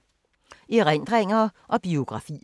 Erindringer og biografier